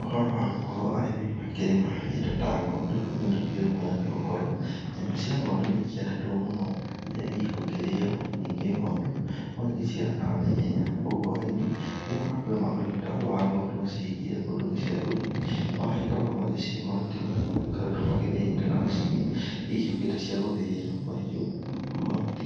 Ũhoro wa arĩmi gũkorwo makĩrĩma indo ta ng'ondu nĩ ũndũ ũkĩri mwega nĩ gũkorwo. Nyama cia ng'ondu nĩ ikĩendetwo mũno iria igũkĩrĩo, ningĩ ng'ondu nĩ igĩciaranaga na ihenya koguo arĩmi rirĩa mekũrĩma ũrĩmi ta ũyũ wa ng'ondu macihingĩre kũndũ gĩcegũ-inĩ. Magagĩkoragwo magĩcihe mahuti marĩa makoragwo mathĩĩte na macini icio cigĩũkĩte cia gũthĩĩra mahiũ mahuti.